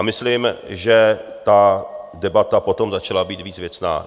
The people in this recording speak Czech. A myslím, že ta debata potom začala být víc věcná.